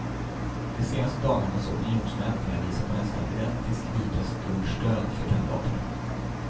De senaste dagarnas opinionsmätningar visar på nästan identiskt lika stort stöd för kandidaterna.